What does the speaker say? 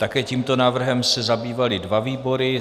Také tímto návrhem se zabývaly dva výbory.